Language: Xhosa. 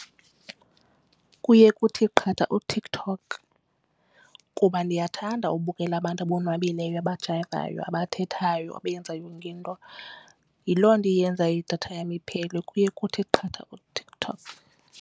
Kuye kuthi qatha uTikTok kuba ndiyathanda ubukela abantu abonwabileyo abajayivayo abathethayo abayenza yonke into. Yiloo nto eyenza idatha yam iphele kuye kuthi qatha uTikTok.